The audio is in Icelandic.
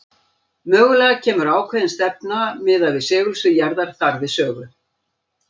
Mögulega kemur ákveðin stefna miðað við segulsvið jarðar þar við sögu.